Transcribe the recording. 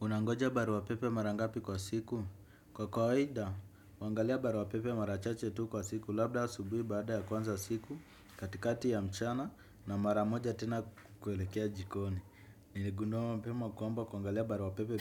Unangoja barua pepe mara ngapi kwa siku? Kwa kawaida, huangalia barua pepe mara chache tu kwa siku labda asubuhi baada ya kuanza siku, katikati ya mchana na mara moja tena kuelekea jikoni. Niligundua mapema kwamba kuangalia barua pepe